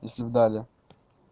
если б дали